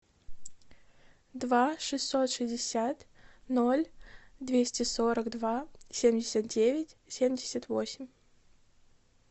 два шестьсот шестьдесят ноль двести сорок два семьдесят девять семьдесят восемь